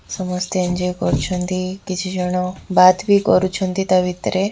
ସମସ୍ତେ ଏଞ୍ଜୟ୍ କରୁଛନ୍ତି କିଛି ଜଣ ବାତ୍ ବି କରୁଛନ୍ତି ତା ଭିତରେ।